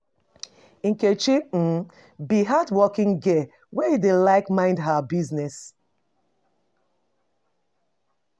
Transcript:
Nkechi um be hardworking girl wey like to mind mind her business.